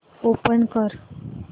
open कर